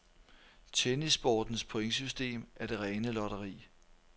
Tennissportens pointsystem er det rene lotteri.